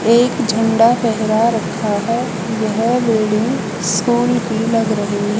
एक झंडा फहरा रखा है यह बिल्डिंग स्कूल की लग रही है।